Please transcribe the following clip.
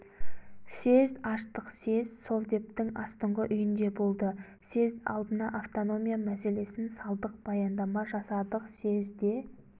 съезд аштық съезд совдептің астыңғы үйінде болды съезд алдына автономия мәселесін салдық баяндама жасадық съезд де